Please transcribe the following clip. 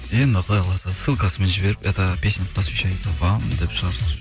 енді құдай қаласа ссылкасымен жіберіп это песня посвящается вам деп